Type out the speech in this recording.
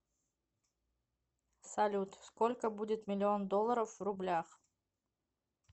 салют сколько будет миллион долларов в рублях